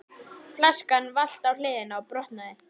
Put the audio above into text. Flaskan valt á hliðina og brotnaði.